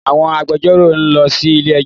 Àwọn agbẹjọro nlọ sí ilé ẹjó